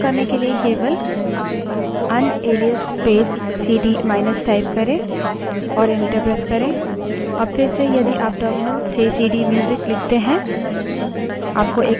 इस एलाइस को निरस्त यानि कैन्सल करने के लिए केवल unalias space CD minus type करे और enter press करे